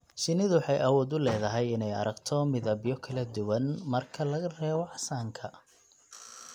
Shinnidu waxay awood u leedahay inay aragto midabyo kala duwan, marka laga reebo casaanka.